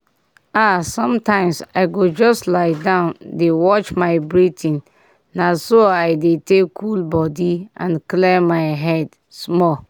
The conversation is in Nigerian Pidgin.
ah sometimes i go just lie down dey watch my breathing na so i dey take cool body and clear my head small.